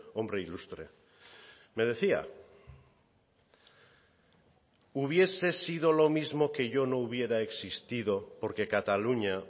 hombre ilustre me decía hubiese sido lo mismo que yo no hubiera existido porque cataluña